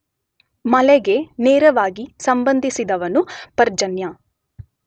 ಮಳೆಗೆ ನೇರವಾಗಿ ಸಂಬಂಧಿಸಿದವನು ಪರ್ಜನ್ಯ.